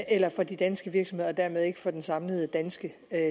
eller for de danske virksomheder og dermed heller ikke for den samlede danske